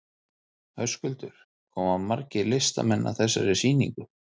Höskuldur, koma margir listamenn að þessari sýningu?